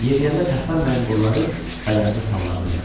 Yeriyəndə tərpənməyən qolları bədəninə sallaq idi.